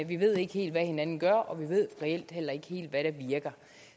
vi ved ikke helt hvad hinanden gør og vi ved reelt heller ikke helt hvad der virker